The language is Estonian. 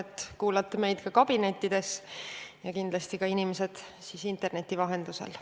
Loodan, et kuulate meid ka kabinettides, samuti inimesed interneti vahendusel.